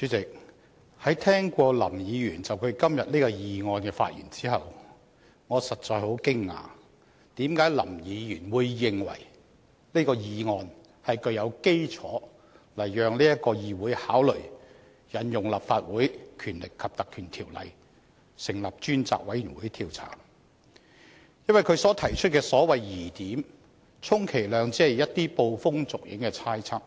代理主席，在聽過林議員就今天這項議案的發言後，我實在感到很驚訝，為何林議員會認為這項議案是具有基礎來讓議會考慮引用《立法會條例》成立專責委員會調查，因為他所提出的所謂疑點，充其量只是一些捕風捉影的猜測，